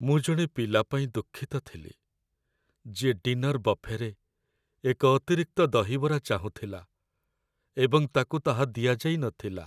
ମୁଁ ଜଣେ ପିଲା ପାଇଁ ଦୁଃଖିତ ଥିଲି ଯିଏ ଡିନର୍ ବଫେରେ ଏକ ଅତିରିକ୍ତ ଦହିବରା ଚାହୁଁଥିଲା ଏବଂ ତାକୁ ତାହା ଦିଆଯାଇ ନଥିଲା।